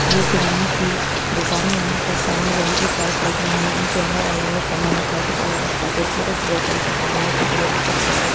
यह किराने की दुकान है यहाँ पर सामने लोहे की सेल्फ लगी हुई है इनके अंदर अलग-अलग सामान रखा है कुछ अलग-अलग पैकेट्स हैं कुछ बोतल्स हैं सामने की तरफ भी कुछ पैकेट --